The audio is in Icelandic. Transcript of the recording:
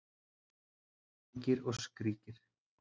Kyngir og skríkir